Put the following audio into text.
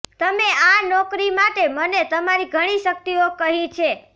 તમે આ નોકરી માટે મને તમારી ઘણી શક્તિઓ કહી છે